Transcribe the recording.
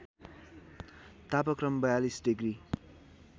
तापक्रम ४२ डिग्री